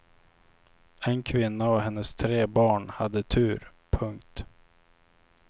En kvinna och hennes tre barn hade tur. punkt